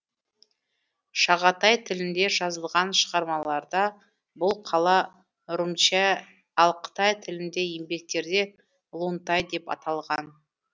шағатай тілінде жазылған шығармаларда бұл қала румчә ал қытай тіліндегі еңбектерде лунтай деп аталған